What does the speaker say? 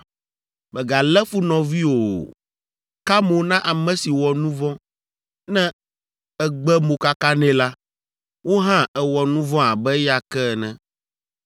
“ ‘Mègalé fu nɔviwò o. Ka mo na ame si wɔ nu vɔ̃. Ne ègbe mokaka nɛ la, wò hã èwɔ nu vɔ̃ abe eya ke ene.